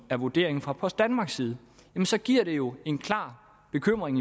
er vurderingen fra post danmark side giver det jo en klar bekymring